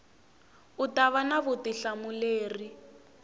u ta va na vutihlamuleri